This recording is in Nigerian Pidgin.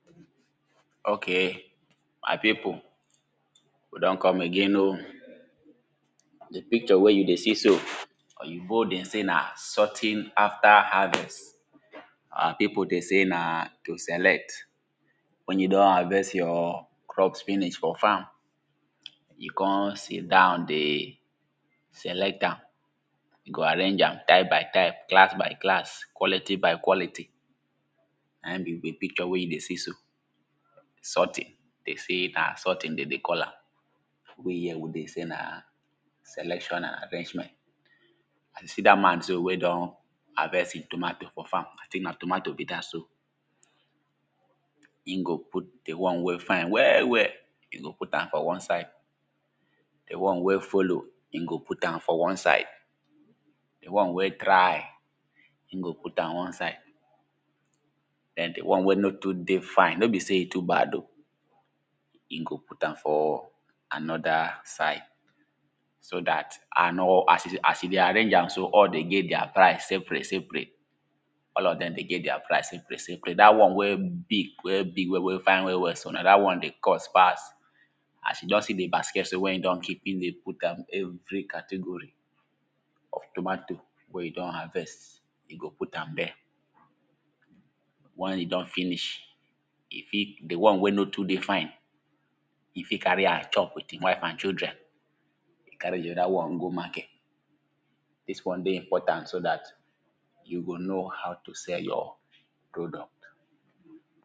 Okay, my people we don come again oh, di picture wey you dey see so, oyibo dey say; na sorting after harvest. Our people dey sey; na to select. Wen you don harvest your crop finish for farm, you come sit down dey select am. You go arrange am type by type, class by class, quality by quality. Na im be di picture wey you dey see so, sorting, dem sey na sorting dem dey call am. We here we dey say na, selection and arrangement. See dat man so wen don harvest im tomato for farm, I think na tomato be dat so, im go put di one wey fine well well, im go put am for one side, di one wey follow, e go put am for one side, di one wey dry, e go put am one side, den di one wey no too dey fine, no be sey e too bad oh, e go put am for another side. So dat, and as e dey arrange am so, all of dem get their price separate separate all of dem dey get their price separate separate. Dat one wey big, wey fine, wey big well well so, na dat one go cost pass, as you don see di basket so, wen e don keep, im dey put dem every category, of tomato wey you don harvest, e go put am there. Wen e don finish, e fit, di one wen no too dey fine, e fit carry am chop with im wife and children, carry di other one go market, dis one dey important, so dat you go know how to sell your product.